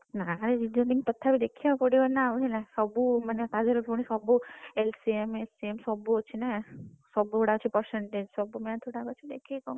ନାଇ ତଥାପି Reasoning ତଥାପି ଦେଖିବାକୁ ପଡିବ ନା ଆଉ ହେଲା ସବୁ ତାଧେରେ ପୁଣି ସବୁ LCM, HCF ସବୁ ଅଛି ନା ସବୁଗୁଡା ଅଛି percentage